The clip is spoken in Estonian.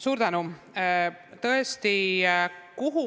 Suur tänu!